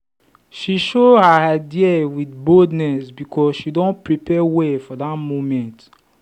she show her idea with boldness because she don prepare well for that moment.